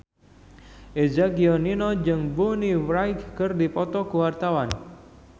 Eza Gionino jeung Bonnie Wright keur dipoto ku wartawan